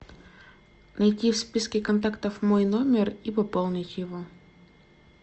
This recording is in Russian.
найти в списке контактов мой номер и пополнить его